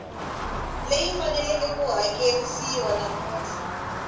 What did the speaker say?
leyi faneleke ku hakerisiwa muthelo